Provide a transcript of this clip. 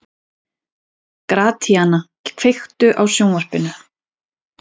Gratíana, kveiktu á sjónvarpinu.